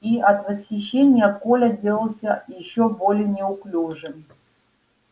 и от восхищения коля делался ещё более неуклюжим